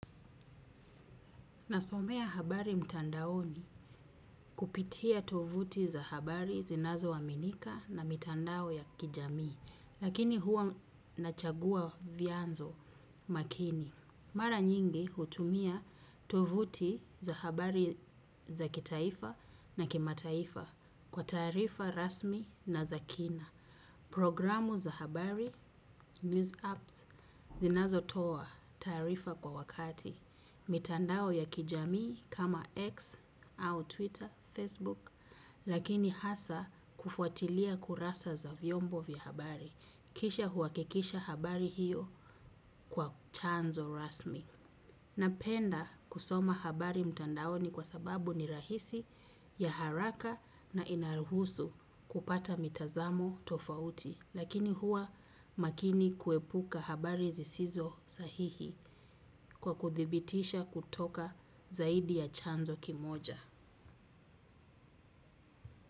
Nasomea habari mtandaoni kupitia tovuti za habari zinazo aminika na mitandao ya kijamii, lakini hua nachagua vianzo makini. Mara nyingi hutumia tovuti za habari za kitaifa na kimataifa kwa taarifa rasmi na zakina. Programu za habari, news apps, zinazo toa, taarifa kwa wakati, mitandao ya kijamii kama X au Twitter, Facebook, lakini hasa kufuatilia kurasa za vyombo vya habari, kisha huakikisha habari hiyo kwa tanzo rasmi. Napenda kusoma habari mtandaoni kwa sababu ni rahisi ya haraka na inaruhusu kupata mitazamo tofauti. Lakini huwa makini kuepuka habari zisizo sahihi kwa kuthibitisha kutoka zaidi ya chanzo kimoja.